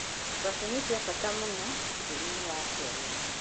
Ngwacĩ nĩ ciabata mũno bũrũri-inĩ wa Kenya.